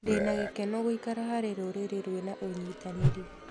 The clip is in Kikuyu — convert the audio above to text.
Ndĩna gĩkeno gũikara harĩ rũrĩrĩ rwĩna ũnyitanĩri.